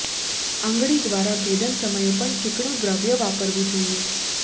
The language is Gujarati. આંગળી દ્વારા ભેદન સમયે પણ ચીકણું દ્રવ્ય વાપરવું જોઈએ